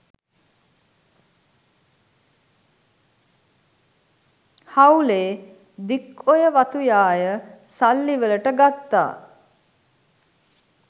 හවුලේ Dikoya වතු යාය සල්ලිවල‍ට ගත්තා.